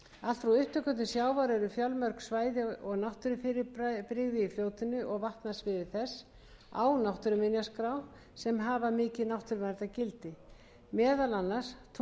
vatnasviði þess á náttúruminjaskrá sem hafa mikið náttúruverndargildi meðal annars tungnafellsjökull og nýidalur laufrönd og